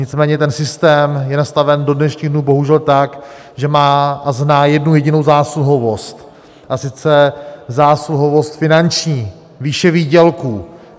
Nicméně ten systém je nastaven do dnešních dnů bohužel tak, že má a zná jednu jedinou zásluhovost, a sice zásluhovost finanční, výše výdělků.